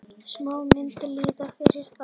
Smáar myntir lýði fyrir það.